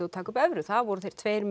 og taka upp evru það voru þeir tveir